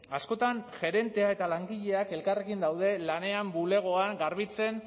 askotan gerentea eta langileak elkarrekin daude lanean bulegoan garbitzen